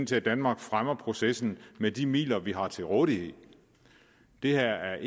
til at danmark fremmer processen med de midler vi har til rådighed det her er